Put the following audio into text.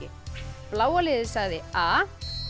bláa liðið sagði a